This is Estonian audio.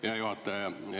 Hea juhataja!